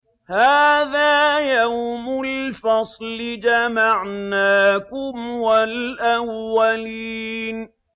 هَٰذَا يَوْمُ الْفَصْلِ ۖ جَمَعْنَاكُمْ وَالْأَوَّلِينَ